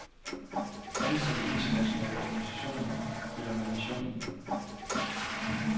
Ansatte i internationale organisationer følger med missionen.